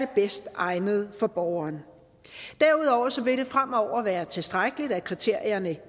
bedst egnede for borgeren derudover vil det fremover være tilstrækkeligt at kriterierne